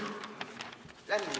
Lähme nüüd.